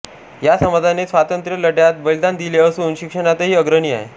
या समाजाने स्वातंत्र्य लढ्यात बलिदान दिले असून शिक्षणातही अग्रणी आहे